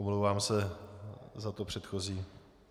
Omlouvám se za to předchozí.